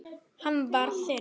Hann var þinn.